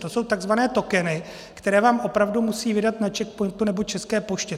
To jsou tzv. tokeny, které vám opravdu musí vydat na CzechPointu nebo České poště.